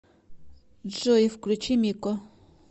джой включи мико